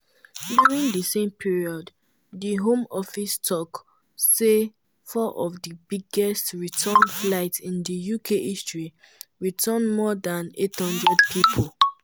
during di same period di home office tok say four of di "biggest return flights in di uk history" return more dan 800 pipo.